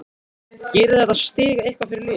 Gerir þetta stig eitthvað fyrir liðið?